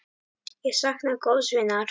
Ég sakna góðs vinar.